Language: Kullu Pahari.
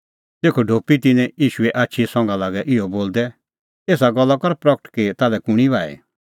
तेखअ ढोपी तिन्नैं ईशूए आछी संघा लागै इहअ बोलदै एसा गल्ला कर प्रगट कि ताल्है कुंणी बाही